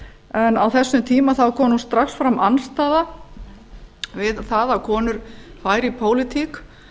en á þessum tíma kom nú strax fram andstaða við það að konur væru í pólitík